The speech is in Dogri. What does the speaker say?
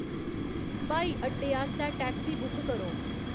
ब्हाई अड्डे आस्तै टैक्सी बुक करो